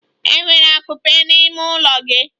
Enwere akupe n'ime ụlọ gị?